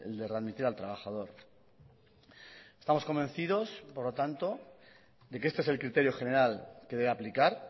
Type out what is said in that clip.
de readmitir al trabajador estamos convencidos por lo tanto de que este es el criterio general que debe aplicar